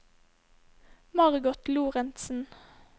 Margot Lorentsen